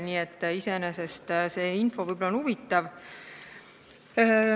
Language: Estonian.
Nii et see info võib olla huvitav.